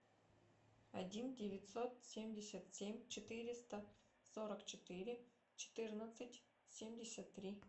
один девятьсот семьдесят семь четыреста сорок четыре четырнадцать семьдесят три